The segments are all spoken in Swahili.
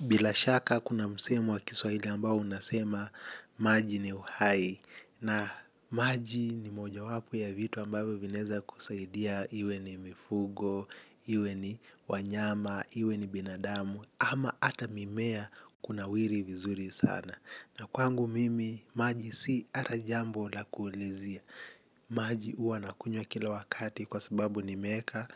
Bila shaka kuna msemo wa kiswahili ambao unasema maji ni uhai. Na maji ni mojawapo ya vitu ambavyo vinaweza kusaidia iwe ni mifugo, iwe ni wanyama, iwe ni binadamu. Ama hata mimea kunawiri vizuri sana. Na kwangu mimi maji si hata jambo la kuulizia. Maji huwa nakunywa kila wakati kwa sababu nimeweka.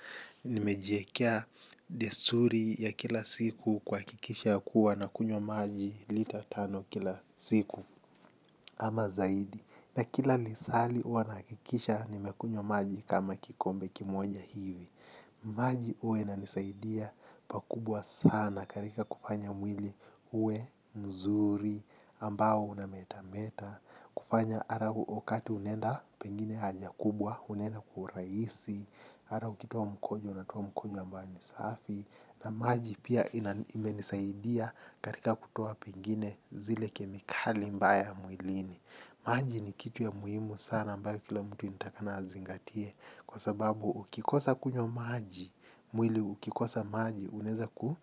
Nimejiwekea desturi ya kila siku kuhakikisha kuwa nakunywa maji lita tano kila siku ama zaidi. Na kila lisali huwa nahakikisha nimekunywa maji kama kikombe kimoja hivi. Maji huwa inanisaidia pakubwa sana katika kufanya mwili uwe mzuri ambao unametameta. Kufanya hata wakati unaenda pengine haja kubwa unaenda kwa urahisi. Hata ukitoa mkojo unatoa mkojo ambayo ni safi. Na maji pia imenisaidia katika kutoa pengine zile kemikali mbaya mwilini. Maji ni kitu ya muhimu sana ambayo kila mtu inatakikana azingatie. Kwa sababu ukikosa kunywa maji mwili ukikosa maji unaweza kuwa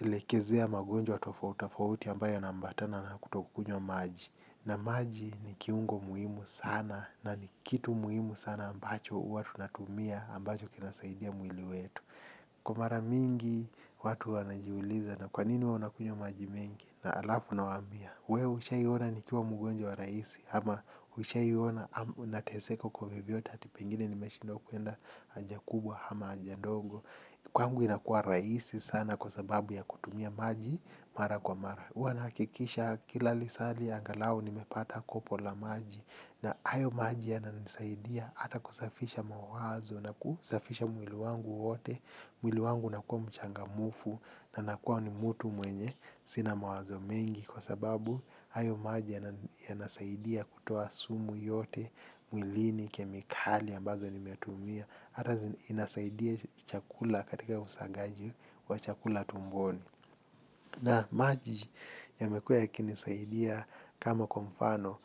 lekezea magonjwa tofauti tofauti ambayo yanaambatana na kutokunywa maji. Na maji ni kiungo muhimu sana na ni kitu muhimu sana ambacho huwa tunatumia ambacho kinasaidia mwili wetu. Kwa mara mingi watu wanajiuliza na kwa nini huwa nakunywa maji mengi. Halafu nawaambia. Wewe ushaiona nikiwa mgonjwa rahisi. Ama ushaiona nateseka kwa vyovyote hata pengine nimeshindwa kuenda haja kubwa ama haja ndogo. Kwangu inakuwa rahisi sana kwa sababu ya kutumia maji mara kwa mara. Huwa nahakikisha kila lisali aghalau nimepata kopo la maji. Na hayo maji yananisaidia hata kusafisha mawazo na kusafisha mwili wangu wote. Mwili wangu unakuwa mchangamfu na nakuwa ni mtu mwenye sina mawazo mengi. Kwa sababu hayo maji yanasaidia kutoa sumu yote. Mwilini, kemikali ambazo nimetumia hata inasaidia chakula katika usagaji wa chakula tumboni. Na maji yamekua yakinisaidia kama kwa mfano,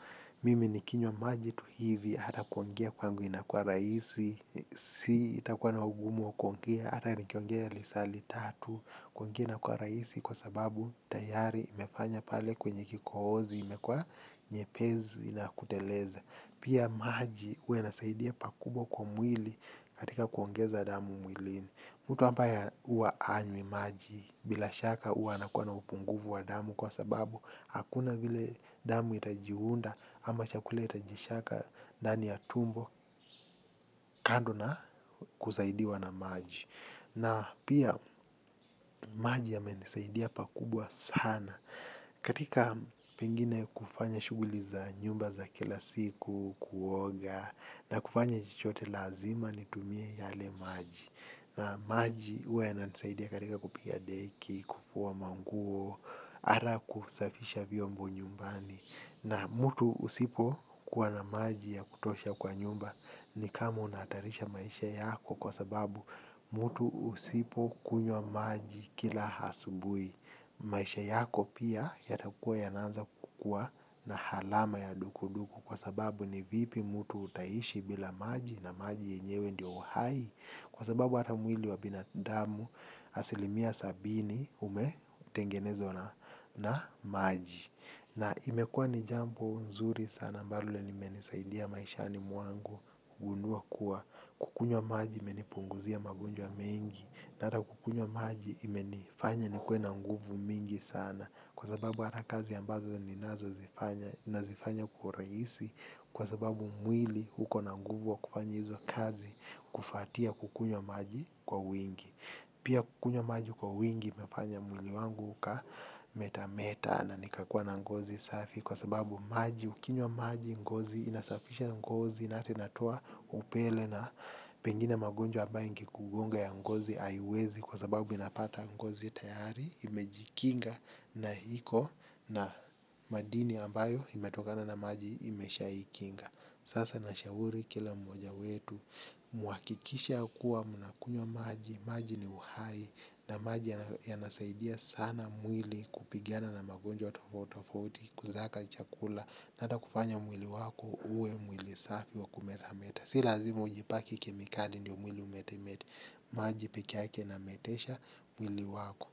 mimi nikinywa maji tu hivi hata kuongea kwangu inakuwa rahisi, sitakuwa na ugumu wa kuongea, hata nikiongea lisali tatu kuongea inakuwa rahisi kwa sababu tayari imefanya pale kwenye kikohozi imekuwa nyepesi na kuteleza. Pia maji huwa inasaidia pakubwa kwa mwili katika kuongeza damu mwilini. Mtu ambaye huwa hanywi maji bila shaka huwa anakuwa na upungufu wa damu kwa sababu hakuna vile damu itajiunda ama chakula itajisiaga ndani ya tumbo kando na kusaidiwa na maji. Na pia maji yamenisaidia pakubwa sana katika pengine kufanya shughuli za nyumba za kila siku kuoga na kufanya chochote lazima nitumie yale maji. Na maji huwa yananisaidia katika kupiga deki, kufua manguo, hata kusafisha vyombo nyumbani. Na mtu usipokuwa na maji ya kutosha kwa nyumba ni kama unahatarisha maisha yako kwa sababu mtu usipokunywa maji kila asubuhi. Maisha yako pia yatakuwa yanaanza kukuwa na alama ya dukuduku kwa sababu ni vipi mtu utaishi bila maji na maji yenyewe ndiyo uhai. Kwa sababu hata mwili wa binadamu asilimia sabini umetengenezwa na maji. Na imekuwa ni jambo nzuri sana ambalo limenisaidia maishani mwangu gundua kuwa kukunywa maji imenipunguzia magonjwa mengi na hata kukunywa maji imenifanya nikuwe na nguvu mingi sana kwa sababu hata kazi ambazo ninazozifanya nazifanya kwa urahisi kwa sababu mwili uko na nguvu ya kufanya hizo kazi kufuatia kukunywa maji kwa wingi. Pia kukunywa maji kwa wingi imefanya mwili wangu uka metameta na nikakuwa na ngozi safi kwa sababu maji ukinywa maji ngozi inasafisha ngozi na hata inatoa upele na pengine magonjwa ambayo ikugonga ya ngozi haiwezi kwa sababu inapata ngozi tayari imejikinga na iko na madini ambayo imetokana na maji imeshaikinga. Sasa nashauri kila mmoja wetu. Mhakikishe kuwa mnakunywa maji. Maji ni uhai. Na maji yanasaidia sana mwili kupigana na magonjwa tofauti tofauti. Kusaga chakula na hata kufanya mwili wako uwe mwili safi wa kumetameta. Si lazima ujipake kemikali ndiyo mwili umetemete. Maji pekeyake inametesha mwili wako.